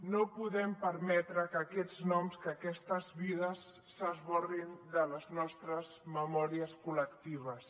no podem permetre que aquests noms que aquestes vides s’esborrin de les nostres memòries col·lectives